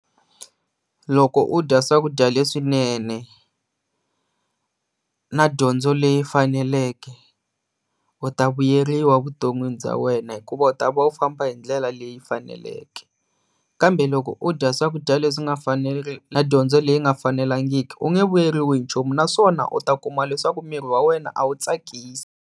Loko u dya swakudya swinene na dyondzo leyi faneleke u ta vuyeriwa evuton'wini bya wena hikuva u ta va u famba hi ndlela leyi faneleke kambe loko u dya swakudya leswi nga na dyondzo leyi nga fanelangiki u nge vuyeriwi hi nchumu naswona u ta kuma leswaku miri wa wena a wu tsakisa.